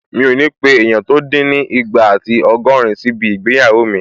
Mi ò ní pé èèyàn tó dín ní ìgbà àti ọgọ́rin síbi ìgbéyàwó mi